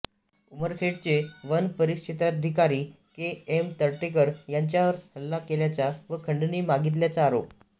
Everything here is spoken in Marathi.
उमरखेडचे वन परिक्षेत्राधिकारी के एम तर्टेकर यांच्यावर हल्ला केल्याचा व खंडणी मागितल्याचा आरोप